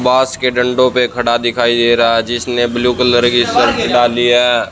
बास के डंडों पे खड़ा दिखाई दे रहा है जिसने ब्लू कलर की शर्ट डाली है।